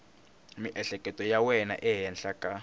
miehleketo ya wena ehenhla ka